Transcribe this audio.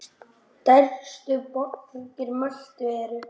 Stærstu borgir Möltu eru